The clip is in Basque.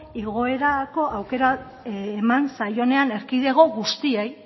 igoerako aukera eman zaionean erkidego guztiei